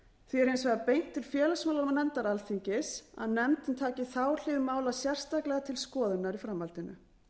hins vegar beint til félagsmálanefndar alþingis að nefndin taki þá hlið mála sérstaklega til skoðunar í framhaldinu